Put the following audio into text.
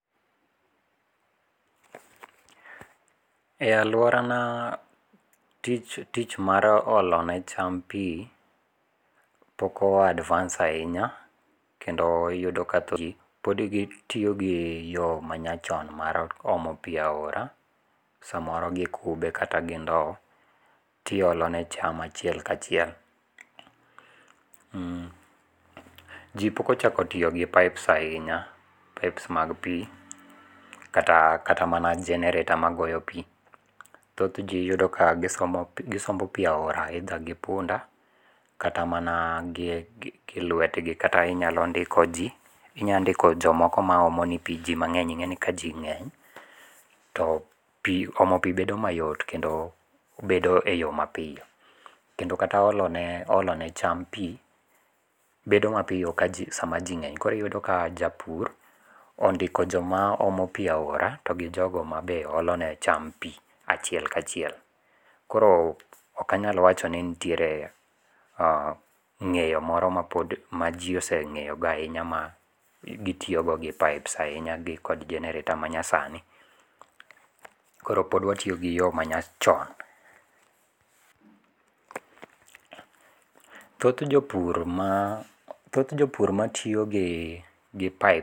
E aluora na tich tich mar olo ne cham pi pok o advance ahinya kendo iyudo ka thoth gi pod gitiyo gi yo ma nyachon mar omo pi aora samoro gi kube kata gi ndow ti olo ne cham achiel ka chiel. Ji pok ochako tiyo gi pipes ahinya, pipes mag pi kata mana generator magoyo pi. Thoth ji iyudo ka gisombo pi aora either gi punda kata mana gi lwetgi kata inyalo ndiko ji. Inya ndiko jomoko ma omo ni pi. Ji ma ng'eny ing'eni ka ji ng'eny to pi omo pi bedo mayot kendo bedo e yo mapiyo. Kendo kata olo ne cham pi bedo mapiyo ka ji sama ji ng'eny. Koro iyudo ka japur ondiko joma omo pi aora to gi jogo ma be olo ne cham pi achiel ka chiel. Koro ok anyal wacho ni nitiere ng'eyo moro ma ji oseng'eyo go ahinya ma gitiyo go gi pipes ahinya gi kod generator ma nyasani. Koro pod watiyo gi yo manyachon. Thoth jo pur thoth jopur matiyo gi [cspipe.